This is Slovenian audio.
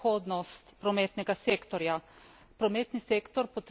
Kot drugo pa gre za prihodnost prometnega sektorja.